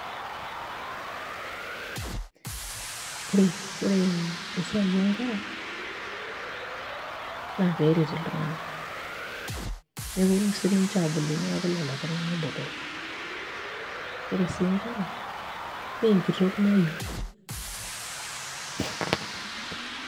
Ore esiai oonkera naa peeret iltung'anak neponu sininche aabulu neeku lelo tung'anak botorrok, ore sii nkera naa enkitok naiu.